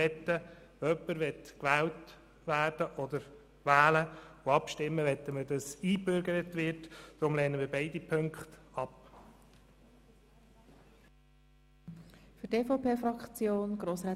Wenn jemand gewählt werden oder wählen und abstimmen möchte, so möchten wir, dass er sich einbürgern lässt.